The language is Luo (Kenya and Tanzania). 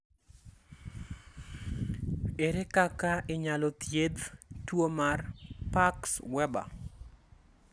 Ere kaka inyalo thiedh tuo mar Parkes Weber?